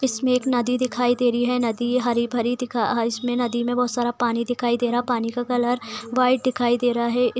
इसमें एक नदी दिखाई दे रही है | नदी हरी भरी दिखाई इसमें नदी में बहुत सारा पानी दिखाई दे रहा पानी का कलर वाइट दिखाई दे रहा है |